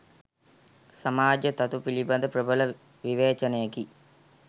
සමාජ තතු පිළිබඳ ප්‍රබල විවේචනයකි.